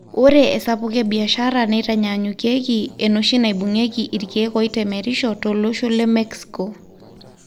Ore esapuko e biashara neitanyanyukieki enoshi naibungieki ikiek oitemerisho tolosho le Mexico.